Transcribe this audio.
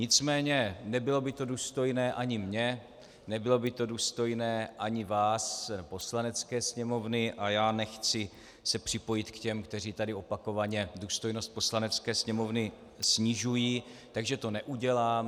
Nicméně nebylo by to důstojné ani mně, nebylo by to důstojné ani vás, Poslanecké sněmovny, a já nechci se připojit k těm, kteří tady opakovaně důstojnost Poslanecké sněmovny snižují, takže to neudělám.